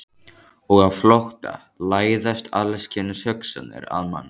Og á flótta læðast alls kyns hugsanir að manni.